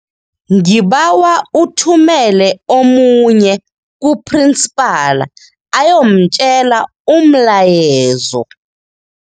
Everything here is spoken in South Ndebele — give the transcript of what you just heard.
Ngibawa uthumele omunye kuphrinsipala ayomtjela umlayezo.